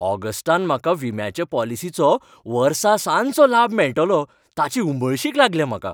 ऑगस्टांत म्हाका विम्याच्या पॉलिसीचो वर्सासनाचो लाब मेळटलो ताची उमळशीक लागल्या म्हाका.